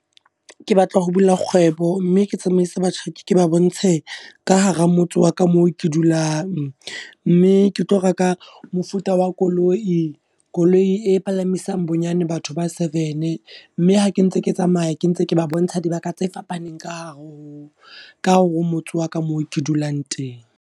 Ke batla ho bula kgwebo, mme ke tsamaise batjhaki, ke ba bontshe ka hara motse wa ka moo ke dulang. Mme ke tlo reka mofuta wa koloi, koloi e palamisang bonyane batho ba seven. Mme ha ke ntse ke tsamaya ke ntse ke ba bontsha dibaka tse fapaneng, ka hare ho ka hore o motse wa ka moo ke dulang teng.